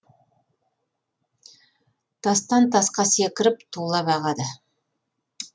тастан тасқа секіріп тулап ағады